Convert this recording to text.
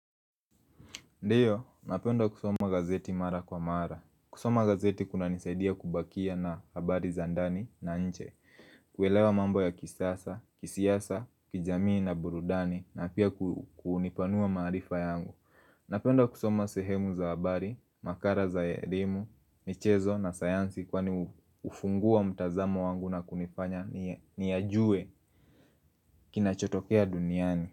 Ndiyo, napenda kusoma gazeti mara kwa mara. Kusoma gazeti kuna nisaidia kubakia na habari zandani na nje. Kuelewa mambo ya kisasa, kisiasa, kijamii na burudani na pia kunipanua maarifa yangu. Napenda kusoma sehemu za habari, makara za elimu, michezo na sayansi kwani ufungua mtazamo wangu na kunifanya niyajue kinachotokea duniani.